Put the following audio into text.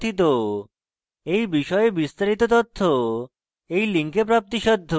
এই বিষয়ে বিস্তারিত তথ্য এই link প্রাপ্তিসাধ্য